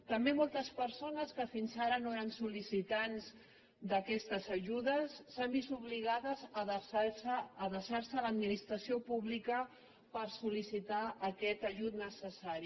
també moltes persones que fins ara no eren sol·licitants d’aquestes ajudes s’han vist obligades a adreçar se a l’administració pública per sol·licitar aquest ajut necessari